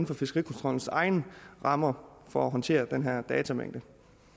for fiskerikontrollens egne rammer for håndtere den her datamængde